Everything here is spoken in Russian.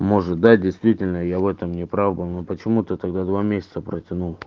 может да действительно я в этом не прав был но почему ты тогда два месяца протянут